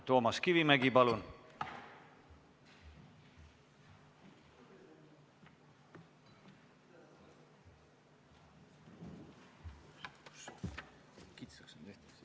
Toomas Kivimägi, palun!